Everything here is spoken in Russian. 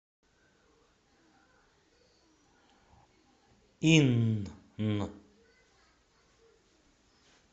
инн